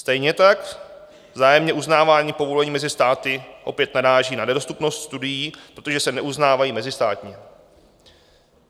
Stejně tak vzájemné uznávání povolení mezi státy opět naráží na nedostupnost studií, protože se neuznávají mezistátně.